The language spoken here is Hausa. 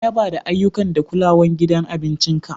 Na yaba da ayyuka da kulawan gidan abincin ka.